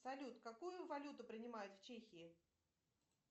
салют какую валюту принимают в чехии